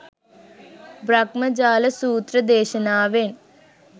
බ්‍රහ්මජාල සූත්‍ර දේශනාවෙන්